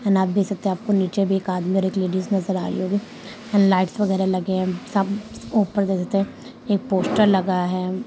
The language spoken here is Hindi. एंड आप देख सकते है आपके नीचे भी एक आदमी और एक लेडीज नज़र आ रही होगी लाइट्स वगेरा लगे है सम ऊपर देख सकते है एक पोस्टर लगा है।